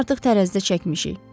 Səni artıq tərəzidə çəkmişik.